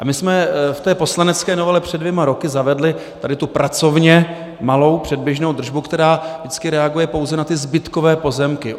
A my jsme v té poslanecké novele před dvěma roky zavedli tady tu pracovně malou předběžnou držbu, která vždycky reaguje pouze na ty zbytkové pozemky.